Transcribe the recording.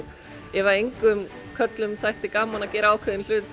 ef engum körlum þætti gaman að gera ákveðinn hlut